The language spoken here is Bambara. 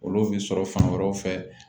Olu bɛ sɔrɔ fan wɛrɛw fɛ